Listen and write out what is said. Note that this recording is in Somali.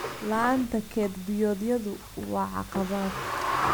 La'aanta kayd biyoodyadu waa caqabad.